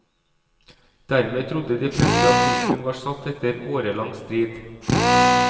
Dermed trodde de fleste at punktum var satt etter årelang strid.